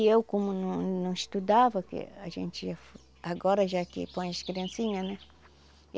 E eu como não não estudava, que a gente agora já que põe as criancinha, né?